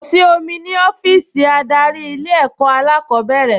Kò sí omi ní ọ́fíìsì adarí Ilé-ẹ̀kọ́ alákọ̀ọ́bẹ̀rẹ̀